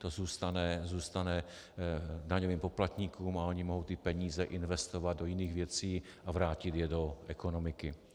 To zůstane daňovým poplatníkům a oni mohou ty peníze investovat do jiných věcí a vrátit je do ekonomiky.